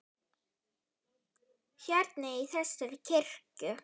Hérna, í þessari kirkju?